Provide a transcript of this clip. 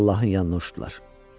Allahın yanına uçdular.